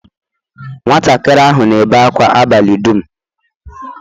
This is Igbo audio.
Nwatakịrị ahụ na-ebe ákwá abalị dum.